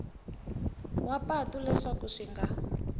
wa patu leswaku swi nga